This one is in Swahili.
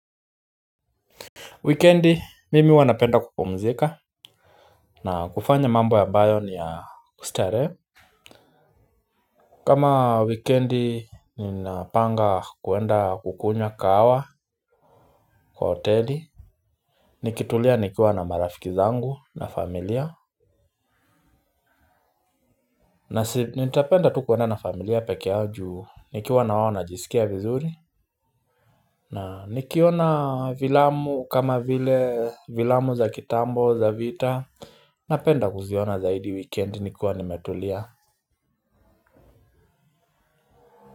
Wikendi mimi huwanapenda kupumzika. Na kufanya mambo ambayo ni ya kustarehe. Kama wikendi ni napanga kwenda kukunywa kahawa. Kwa hoteli nikitulia nikiwa na marafiki zangu na familia. Na nitapenda tu kwenda na familia pekeeyao ju nikiwa na wao najiskia vizuri. Na nikiona filamu kama vile filamu za kitambo za vita napenda kuziona zaidi wikendi nikiwa nimetulia.